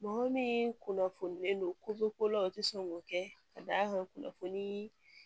Mɔgɔ min kunnafonilen don ko ko la u tɛ sɔn k'o kɛ ka da kan kunnafonii